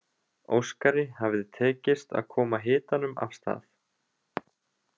Óskari hafði tekist að koma hitanum af stað.